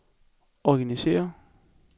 organisér